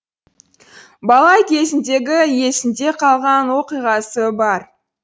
бала кезіндегі есінде қалған оқиғасы бар